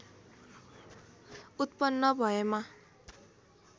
उत्पन्न भएमा